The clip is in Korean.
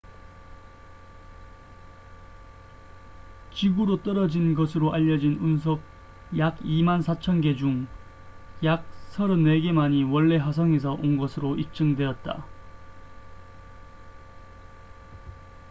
지구로 떨어진 것으로 알려진 운석 약 24,000개 중 약 34개만이 원래 화성에서 온 것으로 입증되었다